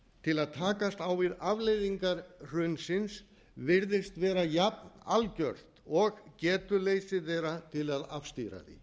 til að takast á við afleiðingar hrunsins virðist vera jafn algjört og getuleysið er til að afstýra